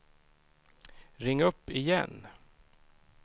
ring upp igen